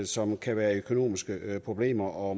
som kan være i økonomiske problemer og